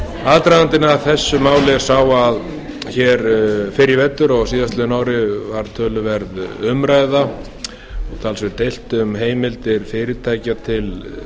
aðdragandinn að þessu máli er sá að hér fyrr í vetur á síðastliðnu ári var töluverð umræða og talsvert deilt um heimildir fyrirtækja til